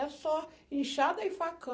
É só inchada e facão.